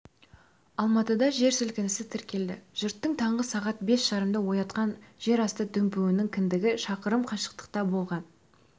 алматыда жер сілкінісі тіркелді жұртты таңғы сағат бес жарымда оятқан жерасты дүмпуінің кіндігі шақырым қашықтықта болған